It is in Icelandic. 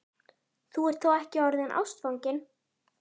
Þú ert þó ekki orðinn ástfanginn?